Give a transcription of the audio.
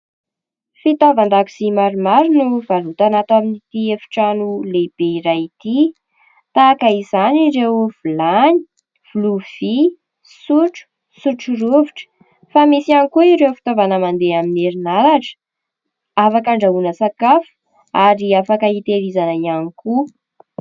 Fitaovan-dakozia maromaro no varotana ato amin'ity efitrano lehibe iray ity ! Tahaka izany ireo vilany, lovia, sotro, sotro rovitra. Fa misy ihany koa ireo fitaovana mandeha amin'ny herinaratra afaka andrahoana sakafo, ary afaka hitahirizana ihany koa.